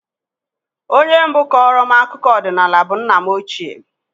Onye mbụ kọọrọ m akụkọ ọdịnala bụ nna m ochie